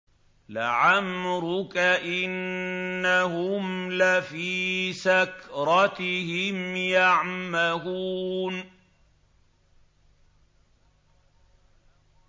لَعَمْرُكَ إِنَّهُمْ لَفِي سَكْرَتِهِمْ يَعْمَهُونَ